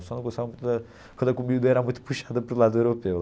Só não gostava muito da quando a comida era muito puxada para o lado europeu.